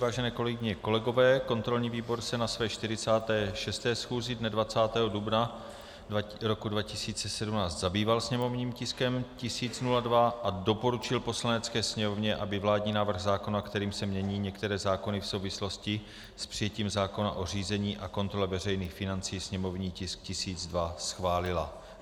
Vážené kolegyně a kolegové, kontrolní výbor se na své 46. schůzi dne 20. dubna roku 2017 zabýval sněmovním tiskem 1002 a doporučil Poslanecké sněmovně, aby vládní návrh zákona, kterým se mění některé zákony v souvislosti s přijetím zákona o řízení a kontrole veřejných financí, sněmovní tisk 1002, schválila.